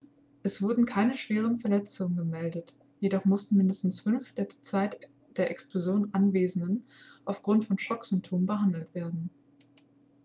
es wurden keine schwere verletzungen gemeldet jedoch mussten mindestens fünf der zur zeit der explosion anwesenden aufgrund von schocksymptomen behandelt werden